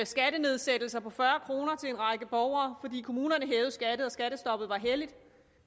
skattenedsættelser på fyrre kroner til en række borgere fordi kommunerne hæver skatten og skattestoppet er helligt